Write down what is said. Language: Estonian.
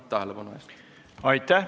Aitäh!